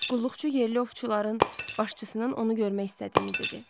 Qulluqçu yerli ovçuların başçısının onu görmək istədiyini dedi.